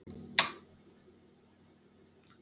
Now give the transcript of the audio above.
Hversu mikið eða lítið fylgist þú með kvennaboltanum?